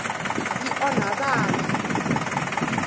yi onha vana